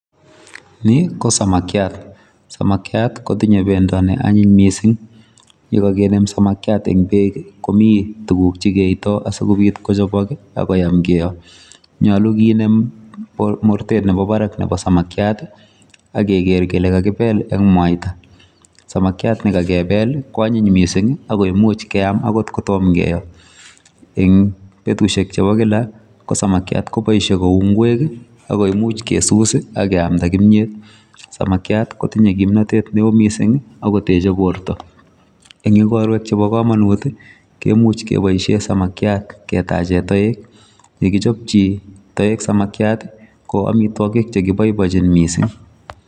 Ni ko samakiat. Samakiat kotinye bendo neanyiny mising. yekakenem samakiat eng beek komi tuguk chikeito asikobit kochopok akoyam kiyo. Nyolu kenem mortet nepo barak nepo samakiat ak keker kele kakipel eng mwaita. Samakiat nekakepel kwanyiny mising ako imuch keam akot kotom keo. Eng betusiek chepo kila ko samakiat koboishe ku ng'wek ako imuch kesus akeamda kimyet. Samakiat kotinye kimnotet neo mising akoteche borto. Eng ikorwek chepo komonut, kemuch kepoishe samakiat ketache toek. Yekichopchi toek samakiat, ko amitwokik chekiboibochin mising.